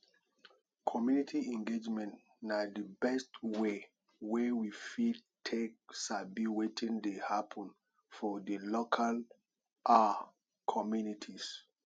community engagement na di best way wey we fit take sabi wetin dey happen for di local um communities